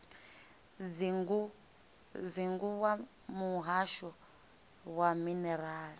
dzingu wa muhasho wa minerala